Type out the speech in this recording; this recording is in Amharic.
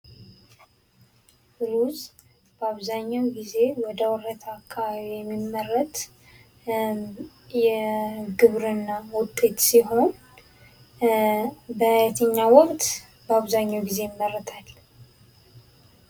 ሩዝ በአብዛኛው ጊዜ ወደ ወረታ አካባቢ የሚመረት የግብርና ዉጤት ሲሆን በየትኛው ወቅት በአብዛኛው ጊዜ ይመረታል?